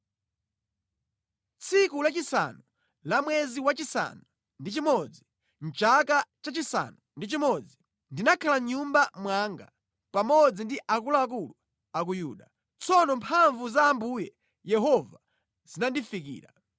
Tsiku lachisanu la mwezi wachisanu ndi chimodzi, mʼchaka chachisanu ndi chimodzi, ndinakhala mʼnyumba mwanga pamodzi ndi akuluakulu a ku Yuda. Tsono mphamvu za Ambuye Yehova zinandifikira.